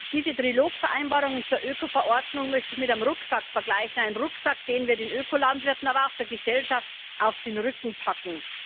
Diese Trilogvereinbarungen zur Ökoverordnung möchte ich mit einem Rucksack vergleichen, einem Rucksack, den wir den Ökolandwirten, aber auch der Gesellschaft auf den Rücken packen.